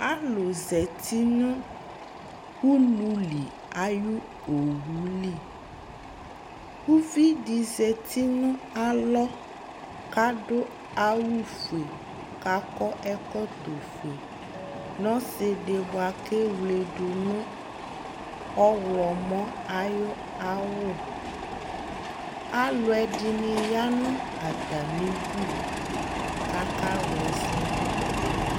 alò zati no ulu li ayi owu li uvi di zati no alɔ k'adu awu fue k'akɔ ɛkɔtɔ fue n'ɔsi di boa k'ewle do no ɔwlɔmɔ ayi awu alo ɛdini ya no atami du k'aka wla ɛsɛ do